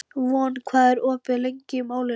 Von, hvað er opið lengi í Málinu?